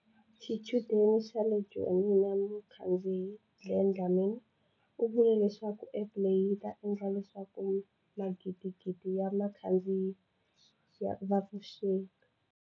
Xichudeni xa le Joni na mukhandziyi, Glen Dlamini u vule leswaku App leyi yi ta endla leswaku magidigidi ya vakhandziyi va tshuxeka.